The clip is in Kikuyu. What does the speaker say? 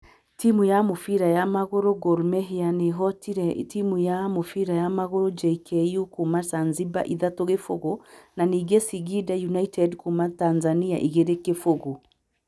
Timu ya mũbira wa magũrũ ya Gor Mahia nĩ ĩhootire timu ya mũbira wa magũrũ ya JKU kuuma Zanzibar 3-0 na ningĩ Singida United kuuma Tanzania 2-0.